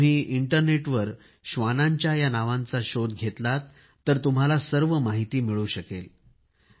तुम्ही इंटरनेटवर श्वानांच्या या नावांचा शोध घेतला तर तुम्हाला सर्व माहिती मिळू शकेल